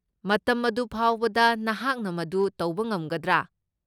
ꯃꯇꯝ ꯑꯗꯨ ꯐꯥꯎꯕꯗ ꯅꯍꯥꯛꯅ ꯃꯗꯨ ꯇꯧꯕ ꯉꯝꯒꯗ꯭ꯔꯥ?